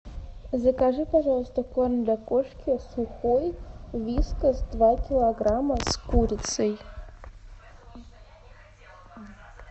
закажи пожалуйста корм для кошки сухой вискас два килограмма с курицей